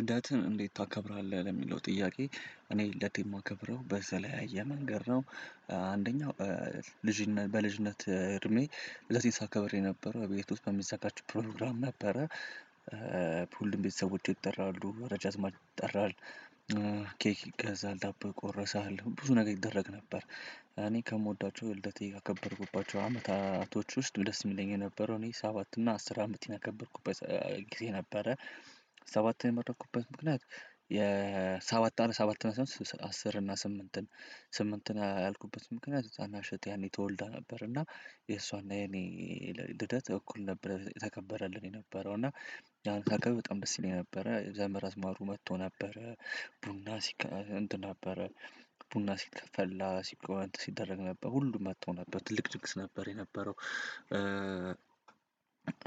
ልደትን እንዴት ታከብራለህ? የሚለው ጥያቄ እኔ ልደቴን የማከብረው በተለይ መንገድ ነው። እ አ አንደኛው ልጅነት በልጅነት እድሜ ለዚህ ሳከብር የነበር ቤት ውስጥ በሚዘጋጅ ፕሮግራም ነበረ። ፑሉም ቤተሰቦቼ ይጠራሉ። ወዳጅ አዝማድ ይጠራል። ኬክ ይገዛል ዳቦ ቆረሰሃ። ብዙ ነገር ይደረግ ነበር። እኔ ከምወዳቸው ልደቴ ካከበርኩባቸው አመታቶች ውስጥ ደስ የሚለኝ የነበረው። እኔ ሰባት እና አስር አመቴን ያከበርኩበት ጊዜ ነበረ ሰባትን የመረጥኩበት ምክንያት የሰባት አመት ሰባት አስር እና ስምንትን ስምንትን ያልኩበት ምክንያት የታናሽ እህቴ ያኔ ተወልዳ ነበር እና የእሷና የኔ ልደት እኩል ነበር። የተከበረልን የነበረው እና ያን ሳከብር በጣም ደስ ይለኝ ነበረ። ዘመድ አዝማዱ መጥቶ ነበረ ቡና ሲቀ እንትን ነበረ ቡና ሲከፈላ ሲቀየር ሲደረግ ነበር ሁሉም መጥቶ ነበር ትልቅ ድንግስ ነበር የነበረው።